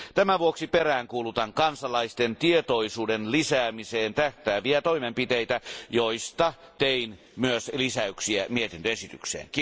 Tämän vuoksi peräänkuulutan kansalaisten tietoisuuden lisäämiseen tähtääviä toimenpiteitä, joista tein myös lisäyksiä mietintöesitykseen.